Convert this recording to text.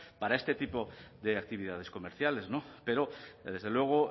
para este tipo de actividades comerciales no pero desde luego